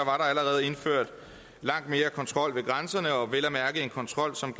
allerede indført langt mere kontrol ved grænserne vel at mærke en kontrol som